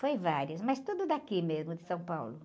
Foi várias, mas tudo daqui mesmo, de São Paulo.